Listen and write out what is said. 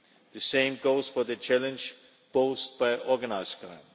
The same goes for the challenge posed by organised crime.